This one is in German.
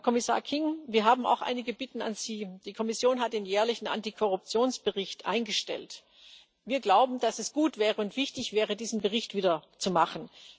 Herr Kommissar King, wir haben auch einige Bitten an Sie Die Kommission hat den jährlichen Antikorruptionsbericht eingestellt Wir glauben, dass es gut und wichtig wäre, diesen Bericht wieder zu machen.